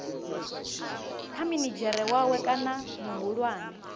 kha minidzhere wawe kana muhulwane